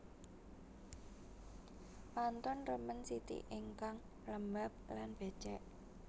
Pantun remen siti ingkang lembab lan bècèk